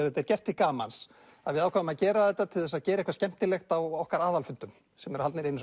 þetta er gert til gamans við ákváðum að gera þetta til þess að gera eitthvað skemmtilegt á okkar aðalfundum sem haldnir eru